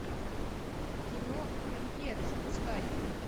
кино люмьеры запускай